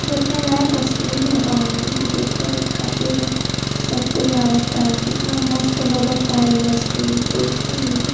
देखने लायक स्कूल बा ये देखल खातिर सब कोई आवता कितना मस्त लगाता ये स्कूल देखि नु।